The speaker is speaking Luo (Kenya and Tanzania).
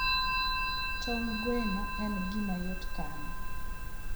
Tong' gweno en gima yot kano.